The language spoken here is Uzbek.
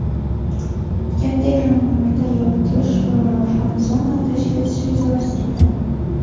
katta ekranlarda yoritish va fan-zona tashkil etish rejalashtirilgan.